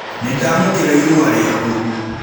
Nĩndamũkĩra ĩrũa rĩakũ